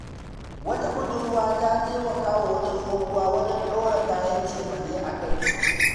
Wata budurwa ta taimaka wa wata tsohuwa wajen ɗora kayan cefane a kai.